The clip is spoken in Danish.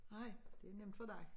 Nej det nemt for dig